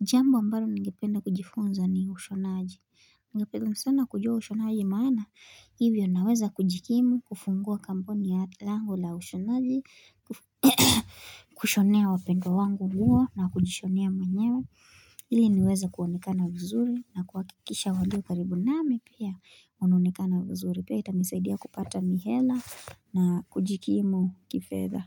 Jambo ambalo ningependa kujifunza ni ushonaji. Ningependa sana kujua ushonaji maana. Ivyo naweza kujikimu, kufungua kampuni ya langu la ushonaji, kushonea wapendwa wangu mguo na kujishonea mwenyewe. Ili niweze kuonekana vizuri na kuhakikisha walio karibu nami pia. Wanaonekana vizuri pia itanisaidia kupata mihela na kujikimu kifedha.